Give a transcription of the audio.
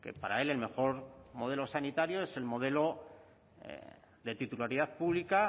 para él el mejor modelo sanitario es el modelo de titularidad pública